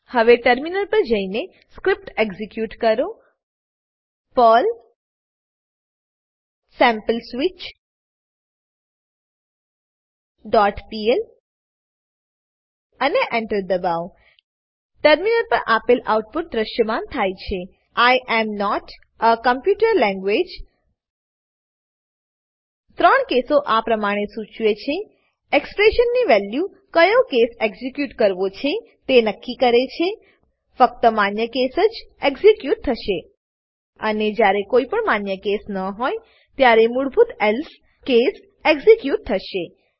હવે ટર્મિનલ પર જઈને સ્ક્રીપ્ટ એક્ઝીક્યુટ કરો પર્લ sampleswitchપીએલ અને Enter દબાવો ટર્મિનલ પર આપેલ આઉટપુટ દૃશ્યમાન થાય છે I am not a computer language 3 કેસો આ પ્રમાણે સૂચવે છે એક્સપ્રેશનની વેલ્યુ કયો કેસ કેસ એક્ઝીક્યુટ કરવો છે તે નક્કી કરે છે ફક્ત માન્ય કેસ કેસ જ એક્ઝીક્યુટ થશે અને જ્યારે કોઈપણ માન્ય કેસ ન હોય ત્યારે મૂળભૂત એલ્સે કેસ એક્ઝીક્યુટ થશે